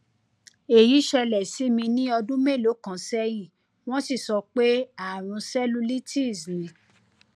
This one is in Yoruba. èyí ṣẹlẹ sí mi ní ọdún mélòó kan sẹyìn wọn sì sọ pé ààrùn cellulitis ni